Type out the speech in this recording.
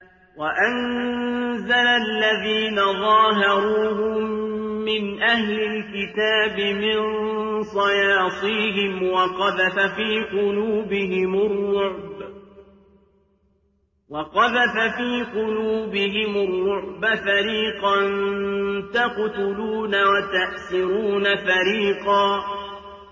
وَأَنزَلَ الَّذِينَ ظَاهَرُوهُم مِّنْ أَهْلِ الْكِتَابِ مِن صَيَاصِيهِمْ وَقَذَفَ فِي قُلُوبِهِمُ الرُّعْبَ فَرِيقًا تَقْتُلُونَ وَتَأْسِرُونَ فَرِيقًا